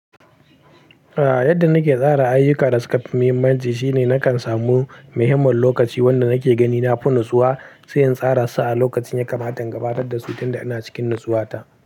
A yadda nake tsara ayyuka da suka fi muhimmanci shine nakan samu muhimmin lokaci wanda nake gani na fi nutsuwa, sai in tsara su a lokacin ya kamata, gabatar da su tunda ina cikin nutsuwata.